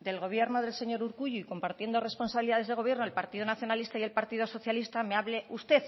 del gobierno del señor urkullu y compartiendo responsabilidades de gobierno el partido nacionalista y el partido socialista me hable usted